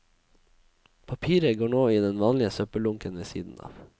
Papiret går nå i den vanlige søppeldunken ved siden av.